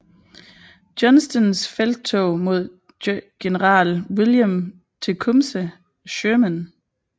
Johnstons felttog mod general William Tecumseh Sherman